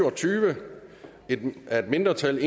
og tyve af et mindretal